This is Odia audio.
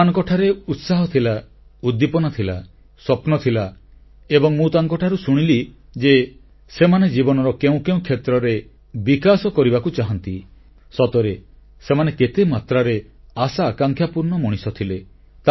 ସେମାନଙ୍କଠାରେ ଉତ୍ସାହ ଥିଲା ଉଦ୍ଦୀପନା ଥିଲା ସ୍ୱପ୍ନ ଥିଲା ଏବଂ ମୁଁ ତାଙ୍କଠାରୁ ଶୁଣିଲି ଯେ ସେମାନେ ଜୀବନର କେଉଁକେଉଁ କ୍ଷେତ୍ରରେ ବିକାଶ କରିବାକୁ ଚାହାନ୍ତି ସତରେ ସେମାନେ କେତେମାତ୍ରାରେ ଆଶାଆକାଂକ୍ଷା ପୂର୍ଣ୍ଣ ମଣିଷ ଥିଲେ